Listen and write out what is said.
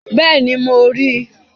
Bẹ́ẹ̀ni, mo ri